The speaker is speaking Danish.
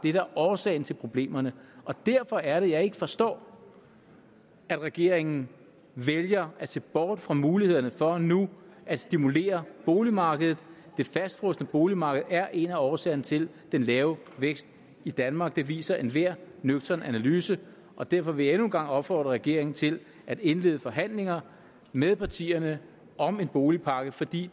er årsag til problemerne og derfor er det jeg ikke forstår at regeringen vælger at se bort fra mulighederne for nu at stimulere boligmarkedet det fastfrosne boligmarked er en af årsagerne til den lave vækst i danmark det viser enhver nøgtern analyse og derfor vil jeg endnu en gang opfordre regeringen til at indlede forhandlinger med partierne om en boligpakke fordi